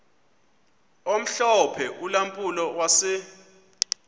omhlophe ulampulo wase